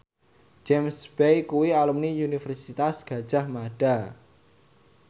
James Bay kuwi alumni Universitas Gadjah Mada